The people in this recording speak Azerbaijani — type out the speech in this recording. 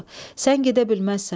Sən gedə bilməzsən.